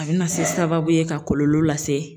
A bɛna se sababu ye ka kɔlɔlɔ lase.